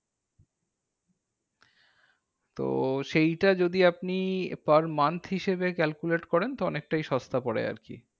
তো সেইটা যদি আপনি per month হিসেবে calculate করেন, তো অনেকটাই সস্তা পরে আরকি।